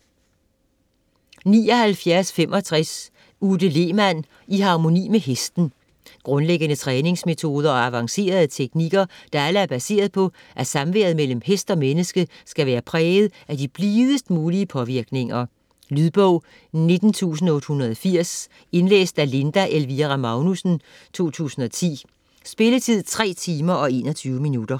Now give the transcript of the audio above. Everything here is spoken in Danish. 79.65 Lehmann, Ute: I harmoni med hesten Grundlæggende træningsmetoder og avancerede teknikker, der alle er baseret på at samværet mellem hest og menneske, skal være præget af de blidest mulige påvirkninger. Lydbog 19880 Indlæst af Linda Elvira Magnussen, 2010. Spilletid: 3 timer, 21 minutter.